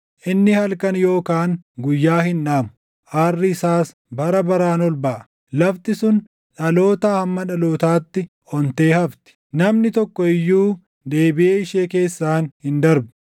Inni halkan yookaan guyyaa hin dhaamu; aarri isaas bara baraan ol baʼa. Lafti sun dhalootaa hamma dhalootaatti ontee hafti; namni tokko iyyuu deebiʼee ishee keessaan hin darbu.